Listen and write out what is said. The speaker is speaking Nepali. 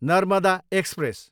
नर्मदा एक्सप्रेस